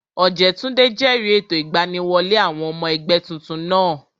Ọ̀jẹ́túndé jẹ̀rìí ètò ìgbaniwọlé àwọn ọmọ ẹgbẹ́ tuntun náà